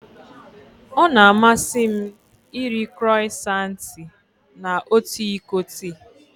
Ọ na-amasị m iri Crọisantị na otu iko tii.